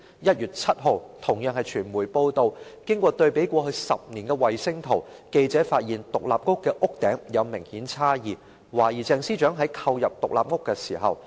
1月7日傳媒報道，經過對比過去10年的衞星圖，記者發現獨立屋的屋頂有明顯差異，懷疑鄭司長在購入該獨立屋後自行興建僭建物。